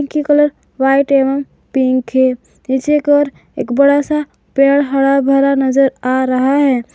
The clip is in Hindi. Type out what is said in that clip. की कलर व्हाइट एवं पिंक है पीछे की ओर एक बड़ा सा पेड़ हरा भरा नजर आ रहा है।